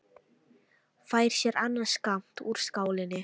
Fær sér annan skammt úr skálinni.